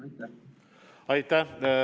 Aitäh!